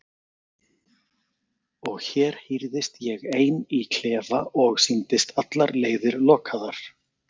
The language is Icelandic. Og hér hírðist ég ein í klefa og sýndist allar leiðir lokaðar.